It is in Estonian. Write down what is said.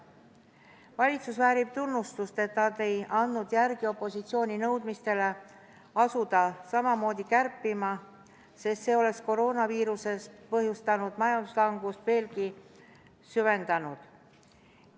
Valitsus väärib tunnustust, et nad ei andnud järele opositsiooni nõudmistele asuda samamoodi kärpima, sest see oleks koroonaviirusest põhjustatud majanduslangust veelgi süvendanud.